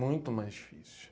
Muito mais difícil.